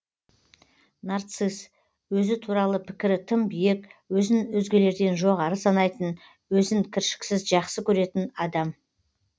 нарцисс өзі туралы пікірі тым биік өзін өзгелерден жоғары санайтын өзін кіршіксіз жақсы көретін адам